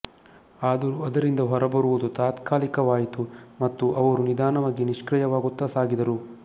ಆದರೂ ಅದರಿಂದ ಹೊರಬರುವುದು ತಾತ್ಕಾಲಿಕವಾಯಿತು ಮತ್ತು ಅವರು ನಿಧಾನವಾಗಿ ನಿಷ್ಕ್ರಿಯವಾಗುತ್ತಾ ಸಾಗಿದರು